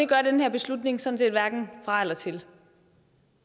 gør den her beslutning sådan set hverken fra eller til